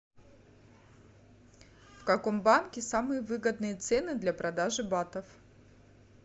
в каком банке самые выгодные цены для продажи батов